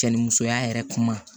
Cɛ ni musoya yɛrɛ kuma